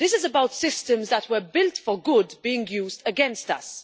This is about systems that were built for good being used against us.